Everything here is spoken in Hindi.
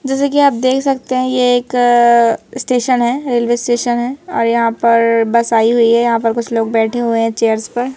जैसे कि आप देख सकते हैं ये एक स्टेशन है रेलवे स्टेशन है और यहां पर बस आई हुई है यहां पर कुछ लोग बैठे हुए हैं चेयर्स पर।